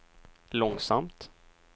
långsamt